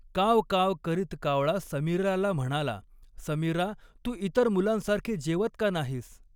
काव काव करीत कावळा समीराला म्हणाला, समीरा तू इतर मुलांसारखे जेवत का नाहीस?